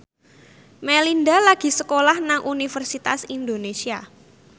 Melinda lagi sekolah nang Universitas Indonesia